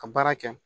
Ka baara kɛ